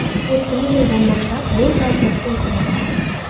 O‘tgan yildan boshlab bu tartib o‘zgardi.